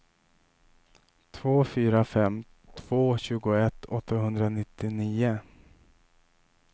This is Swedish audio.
två fyra fem två tjugoett åttahundranittionio